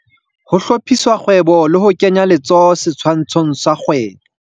Ho hlophisa kgwebo le hokenya letsoho setshwantshong sa kgwebo.